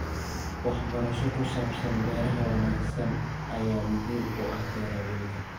Waxbarasho ku saabsan beeraha wanaagsan ayaa muhiim u ah beeralayda.